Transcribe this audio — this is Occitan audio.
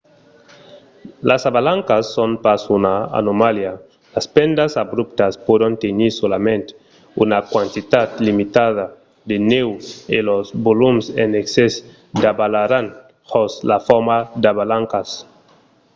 las avalancas son pas una anomalia; las pendas abruptas pòdon tenir solament una quantitat limitada de nèu e los volums en excès davalaràn jos la forma d'avalancas